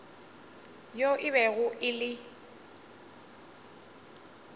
yo e bego e le